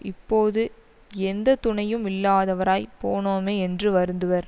இப்போது எந்த துணையும் இல்லாதவராய்ப் போனோமே என்று வருந்துவர்